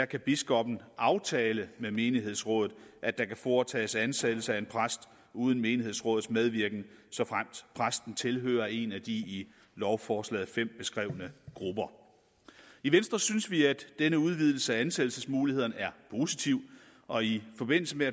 kan biskoppen aftale med menighedsrådet at der kan foretages ansættelse af en præst uden menighedsrådets medvirken såfremt præsten tilhører en af de i lovforslaget fem beskrevne grupper i venstres synes vi at denne udvidelse af ansættelsesmulighederne er positiv og i forbindelse med